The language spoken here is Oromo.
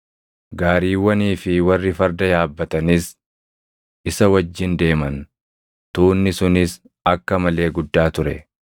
Gaariiwwanii fi warri farda yaabbatanis isa wajjin deeman. Tuunni sunis akka malee guddaa ture.